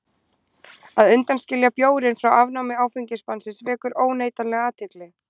Að undanskilja bjórinn frá afnámi áfengisbannsins vekur óneitanlega athygli.